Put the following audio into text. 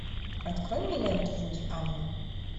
открой мне ленту вуди аллена